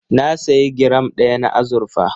Na sayi giram ɗaya na azurfa.